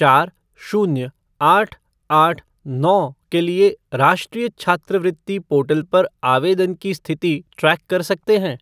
चार शून्य आठ आठ नौ के लिए राष्ट्रीय छात्रवृत्ति पोर्टल पर आवेदन की स्थिति ट्रैक कर सकते हैं?